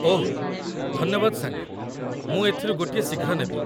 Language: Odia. ଓଃ ଧନ୍ୟବାଦ ସାଙ୍ଗ, ମୁଁ ଏଥିରୁ ଗୋଟିଏ ଶୀଘ୍ର ନେବି।